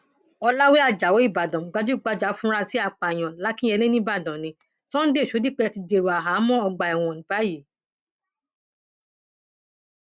ọlàwé ajáò ìbàdàn gbajúgbajà afurasí àpáàyàn lakinyẹlé nìbàdàn nni sunday shodipe ti dèrò àhámọ ọgbà ẹwọn báyìí